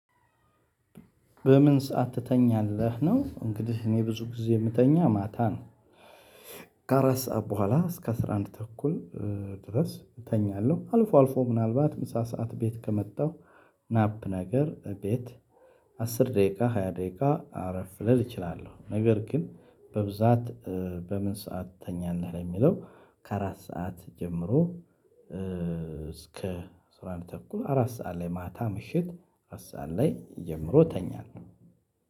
በምን ሰዓት ትተኛለህ ነው? እንግዲህ እኔ ብዙ ጊዜ የምተኛ ማታ ነው። ከአራት ሰዓት በኋላ እስከ አስራ አንድ ተኩል ድረስ እተኛለው። አልፎ አልፎ ምናልባት ምሳ ሰዓት ቤት ከመጣው። ናፕ ነገር ቤት አስር ደቂቃ ሃያ ደቂቃ አረፍ ልል እችላለው። ነገር ግን በብዛት በምን ሰዓት ትተኛለህ ለሚለው? ከአራት ሰዓት ጀምሮ። እስከ አስራ አንድ ሰዓት ተኩል አራት ሰዓት ላይ ማታ ምሽት አስር ሰዓት ላይ ጀምሮ እተኛለው።